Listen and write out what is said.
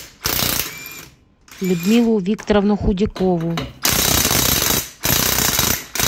людмилу викторовну худякову